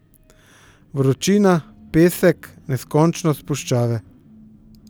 Vročina, pesek, neskončnost puščave.